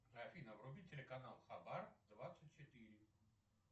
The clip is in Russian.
афина вруби телеканал хабар двадцать четыре